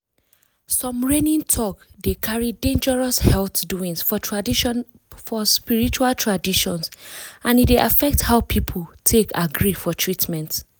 some reigning talk dey carry dangerous health doings for spiritual traditions and e dey affect how people take agree for treatment.